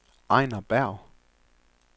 Ejner Berg